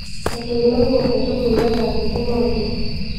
etuunoki inkatubulu etaanikino oleng